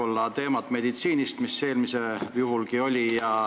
Jätkame meditsiiniteemat.